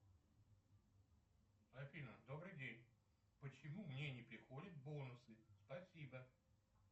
афина добрый день почему мне не приходят бонусы спасибо